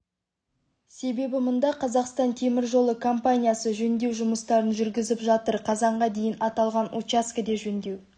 себебі мұнда қазақстан темір жолы компаниясы жөндеу жұмыстарын жүргізіп жатыр қазанға дейін аталған учаскеде жөндеу